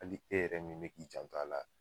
Ali e yɛrɛ min bɛ k'i janto a la.